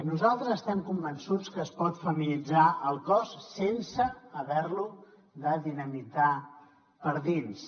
nosaltres estem convençuts que es pot feminitzar el cos sense haver lo de dinamitar per dins